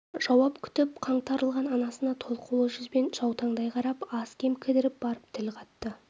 жауап күтіп қаңтарылған анасына толқулы жүзбен жаутаңдай қарап аз-кем кідіріп барып тіл қатты